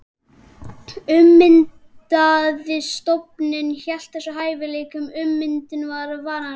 Ummyndaði stofninn hélt þessum hæfileika, ummyndunin var varanleg.